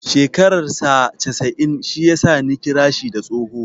Shekarar saa casa'in shi ya sa Ni kira shi da tsoho.